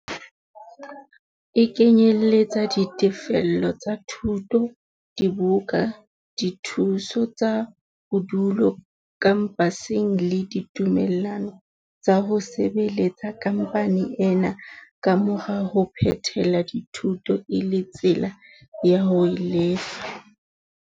E kenyeletsa ditefello tsa dithuto, dibuka, dithuso tsa bodulo khampaseng le ditumellano tsa ho sebeletsa khampani ena ka mora ho phethela dithuto e le tsela ya ho e lefa.